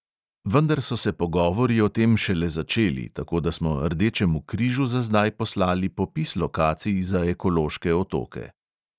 Vendar so se pogovori o tem šele začeli, tako da smo rdečemu križu za zdaj poslali popis lokacij za ekološke otoke.